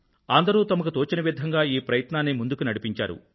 అందరూ తమకు తోచిన విధంగా ఈ ప్రయత్నాన్ని ముందుకు నడిపించారు